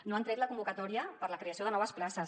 no han tret la convocatòria per a la creació de noves places